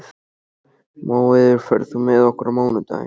Móeiður, ferð þú með okkur á mánudaginn?